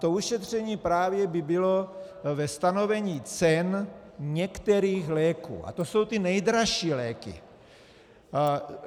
To ušetření právě by bylo ve stanovení cen některých léků a to jsou ty nejdražší léky.